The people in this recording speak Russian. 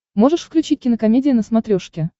можешь включить кинокомедия на смотрешке